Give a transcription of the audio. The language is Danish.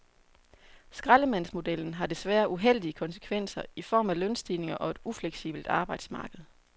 Skraldemandsmodellen har desværre uheldige konsekvenser i form af lønstigninger og et ufleksibelt arbejdsmarked.